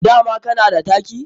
Dama kana da taki?